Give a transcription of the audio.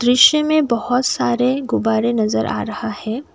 दृश्य में बहोत सारे गुब्बारे नज़र आ रहा है।